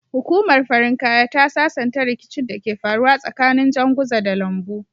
Hukumar farin kaya ta sasanta ricikin da ke faruwa tsakanin janguza da lambu